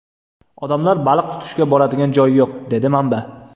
Odamlar baliq tutishga boradigan joy yo‘q”, dedi manba.